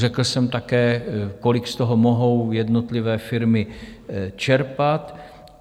Řekl jsem také, kolik z toho mohou jednotlivé firmy čerpat.